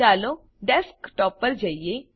ચાલો ડેસ્કટોપ પર જઈએ